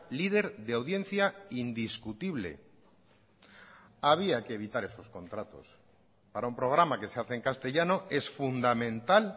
líder de audiencia indiscutible había que evitar esos contratos para un programa que se hace en castellano es fundamental